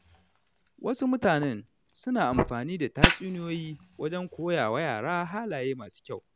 Wasu mutane suna amfani da tatsuniyoyi wajen koya wa yara halaye masu kyau.